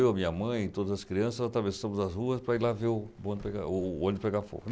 Eu, minha mãe, todas as crianças atravessamos as ruas para ir lá ver o bonde pegar... o ônibus pegar fogo.